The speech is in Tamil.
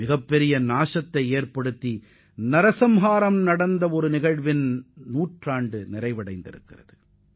அந்தப் போர் நிறைவடைந்து நூறு ஆண்டுகள் ஆகும் நிலையில் பேரழிவுகள் மற்றும் மனித உயிரிழப்புகள் நிறைவடைந்து ஒருநூற்றாண்டு ஆகிறது என்பதை நமக்கு உணர்த்துகிறது